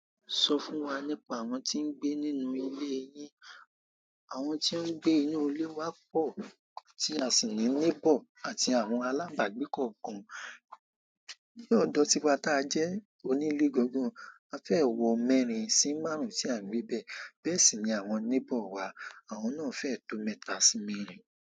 Sọ fún wa nípa àwọn tí ń gbé nínú ilé yín. Àwọn tí ń gbé inú ilé wa pọ̀ tí a sì ń ní neighbour àti àwọn alábàágbékọ̀ kan. Ni odo tiwa ti a je onile gangan, a fe wo mẹ́rin si márùn ti a n gbebe. Bẹ́ẹ̀ sì ni àwọn neighbour wa, àwọn náà fẹ́ tó mẹ́ta sí mẹ́rin.